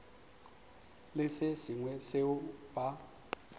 le se sengwe seo ba